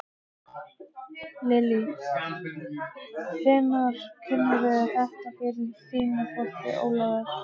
Lillý: Hvenær kynnirðu þetta fyrir þínu fólki, Ólafur?